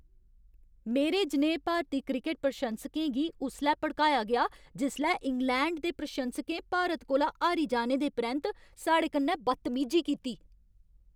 मेरे जनेहे भारती क्रिकट प्रशंसकें गी उसलै भड़काया गेआ जिसलै इंग्लैंड दे प्रशंसकें भारत कोला हारी जाने दे परैंत्त साढ़े कन्नै बदतमीजी कीती।